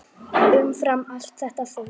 Umfram allt þetta fólk.